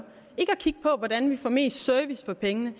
ikke at kigge på hvordan vi får mest mulig service for pengene